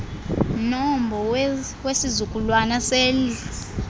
mnombo wesizukulwana sendlu